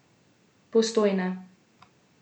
Postojna.